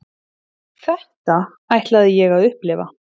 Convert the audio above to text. Þetta ætlaði ég að upplifa.